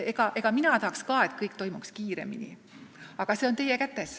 Mina tahaks ka, et kõik toimuks kiiremini, aga see on teie kätes.